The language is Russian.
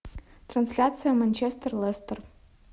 трансляция манчестер лестер